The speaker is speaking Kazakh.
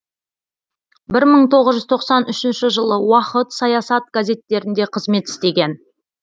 бір мың тоғыз жүз тоқсан үшінші жылы уақыт саясат газеттерінде қызмет істеген